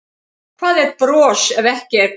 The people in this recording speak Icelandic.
Hvað er bros ef ekki er gleði?